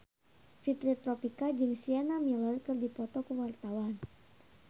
Fitri Tropika jeung Sienna Miller keur dipoto ku wartawan